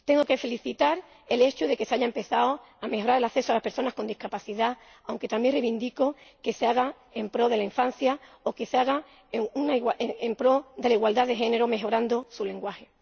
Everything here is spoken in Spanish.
Tengo que felicitar el hecho de que se haya empezado a mejorar el acceso a las personas con discapacidad, aunque también reivindico que se haga en pro de la infancia o que se haga en pro de la igualdad de género, mejorando su lenguaje.